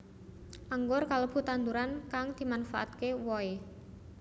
Anggur kalebu tanduran kang dimanfaatkè wohè